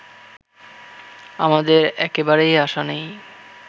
আমাদের একেবারে আশা নেই